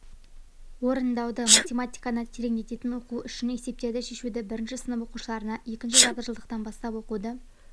орындауды математиканы тереңдетін оқу үшін есептерді шешуді бірінші сынып оқушыларына екінші жарты жылдықтан бастап оқуды